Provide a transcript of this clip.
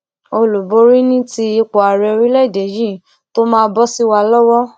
olúborí ni ti ipò ààrẹ orílẹèdè yìí tó máa bọ sí wa lọwọ